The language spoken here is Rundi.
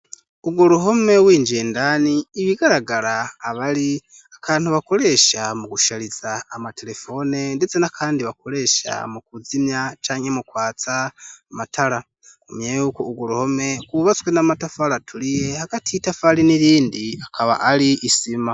Urwo ruhome w'injendani ibigaragara abari akantu bakoresha mu gushariza amaterefone ndetse nakandi bakoresha mu kuzimya canye mukwatsa amatara umye yuko urwo ruhome kubatswe n'amatafari aturiye hagati itafari n'irindi akaba ari isima.